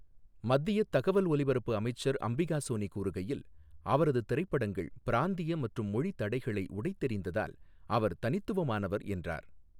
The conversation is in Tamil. மத்தியத் தகவல் ஒலிபரப்பு அமைச்சர் அம்பிகா சோனி கூறுகையில், அவரது திரைப்படங்கள் பிராந்திய மற்றும் மொழி தடைகளை உடைத்தெறிந்ததால் அவர் தனித்துவமானவர் என்றார்.